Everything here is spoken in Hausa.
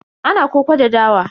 Ana koko da dawa.